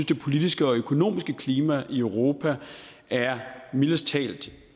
det politiske og økonomiske klima i europa er mildest talt